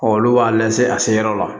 Ɔ olu b'a llse a se yɔrɔ la